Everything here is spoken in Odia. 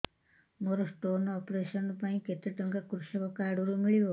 ମୋର ସ୍ଟୋନ୍ ଅପେରସନ ପାଇଁ କେତେ ଟଙ୍କା କୃଷକ କାର୍ଡ ରୁ ମିଳିବ